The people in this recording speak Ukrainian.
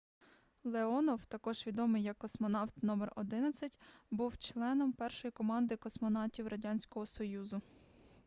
леонов також відомий як космонавт №11 був членом першої команди космонавтів радянського союзу